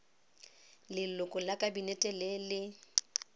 leloko la kabinete le le